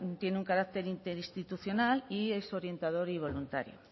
tiene un carácter interinstitucional y es orientador y voluntario